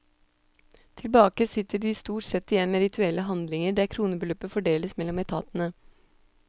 Tilbake sitter de stort sett igjen med rituelle handlinger der kronebeløp fordeles mellom etatene.